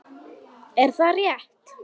Er það rétt??